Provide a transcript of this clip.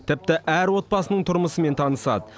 тіпті әр отбасының тұрмысымен танысады